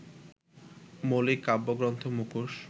মৌলিক কাব্যগ্রন্থ মুখোশ